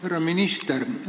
Härra minister!